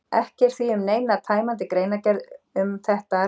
Ekki er því um neina tæmandi greinargerð um þetta að ræða.